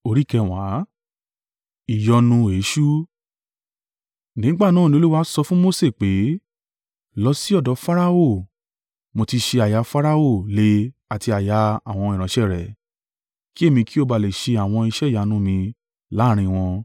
Nígbà náà ni Olúwa sọ fún Mose pé, “Lọ sí ọ̀dọ̀ Farao, mo ti ṣé àyà Farao le àti àyà àwọn ìránṣẹ́ rẹ̀, kí èmi kí o ba le ṣe àwọn iṣẹ́ ìyanu mi láàrín wọn.